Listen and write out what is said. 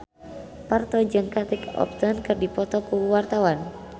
Parto jeung Kate Upton keur dipoto ku wartawan